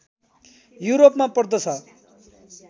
युरोपमा पर्दछ